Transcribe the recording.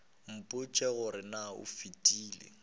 mpotše gore na go fetile